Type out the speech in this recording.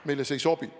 Meile see ei sobi.